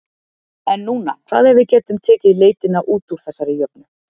En núna, hvað ef við getum tekið leitina út úr þessari jöfnu?